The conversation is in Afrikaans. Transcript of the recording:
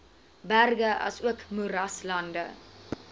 berge asook moeraslande